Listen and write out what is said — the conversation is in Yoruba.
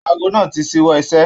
Aago náà tí ṣiwọ iṣẹ.